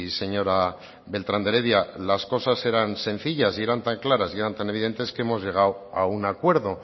señora beltrán de heredia si las cosas eran sencillas eran tan claras y eran tan evidentes que hemos llegado a un acuerdo